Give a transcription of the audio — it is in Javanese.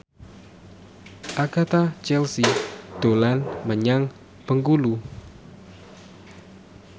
Agatha Chelsea dolan menyang Bengkulu